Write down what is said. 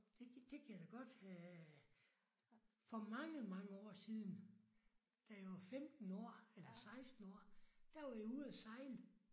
Det det kan jeg da godt have for mange mange år siden da jeg var 15 år eller 16 år der var jeg ude at sejle